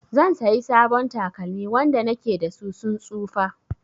Zan sayi sabon takalmi, wanda na ke da su sun tsufa.